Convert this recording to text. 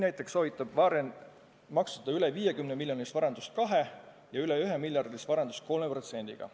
Näiteks soovitab Warren maksustada üle 50-miljonilist varandust 2%-ga ja üle 1-miljardilist varandust 3%-ga.